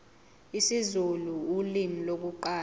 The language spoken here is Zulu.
isizulu ulimi lokuqala